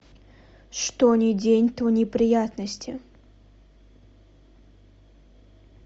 что ни день то неприятности